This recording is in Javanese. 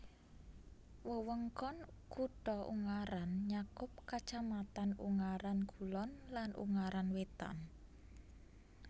Wewengkon kutha Ungaran nyakup kacamatan Ungaran Kulon lan Ungaran Wétan